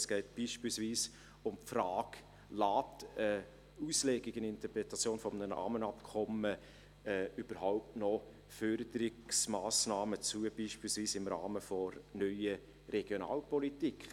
Es geht beispielsweise um die Frage, ob eine Auslegung, eine Interpretation eines Rahmenabkommens überhaupt noch Förderungsmassnahmen zulässt, beispielsweise im Rahmen der NRP.